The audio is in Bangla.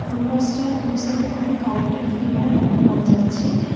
ফুল গাছটার দু সাইড -এ দুটো কারেন্ট -এর ফিলার লক্ষ করা যাচ্ছে।